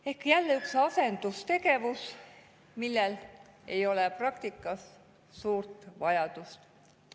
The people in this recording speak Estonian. Ehk jälle üks asendustegevus, milleks ei ole praktikas suurt vajadust.